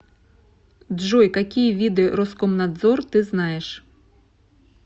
джой какие виды роскомнадзор ты знаешь